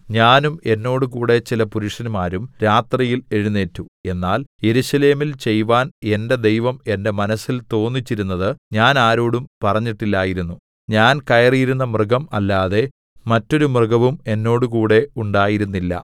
ഞാനും എന്നോടുകൂടെ ചില പുരുഷന്മാരും രാത്രിയിൽ എഴുന്നേറ്റു എന്നാൽ യെരൂശലേമിൽ ചെയ്‌വാൻ എന്റെ ദൈവം എന്റെ മനസ്സിൽ തോന്നിച്ചിരുന്നത് ഞാൻ ആരോടും പറഞ്ഞിട്ടില്ലായിരുന്നു ഞാൻ കയറിയിരുന്ന മൃഗം അല്ലാതെ മറ്റൊരു മൃഗവും എന്നോടുകൂടെ ഉണ്ടായിരുന്നില്ല